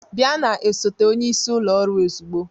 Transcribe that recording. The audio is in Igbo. Bịa na osote onyeisi ụlọ ọrụ ozugbo